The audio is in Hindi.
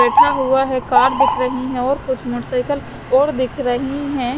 बेठा हुआ है कार दिख रही है और कुछ मोटरसाईकिल और दिख रही है।